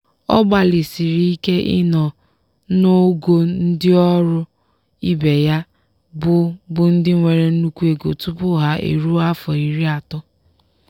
ọ gbalịsiri ike ị nọ n'ogo ndị ọrụ ibe ya bụ bụ ndị nwere nnukwu ego tupu ha eruo afọ iri atọ.